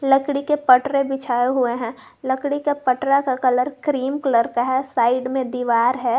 लकड़ी के पटरे बिछाए हुए है लकड़ी के पटरा का कलर क्रीम कलर का है साइड में दीवार है।